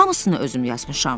Hamısını özüm yazmışam.